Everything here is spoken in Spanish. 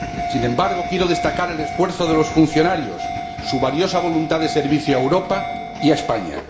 Sin embargo, quiero destacar el esfuerzo de los funcionarios, su valiosa voluntad de servicio a Europa y a España.